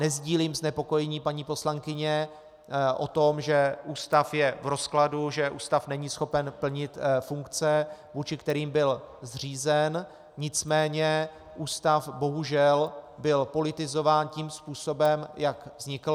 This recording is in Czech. Nesdílím znepokojení paní poslankyně o tom, že ústav je v rozkladu, že ústav není schopen plnit funkce, vůči kterým byl zřízen, nicméně ústav bohužel byl politizován tím způsobem, jak vznikl.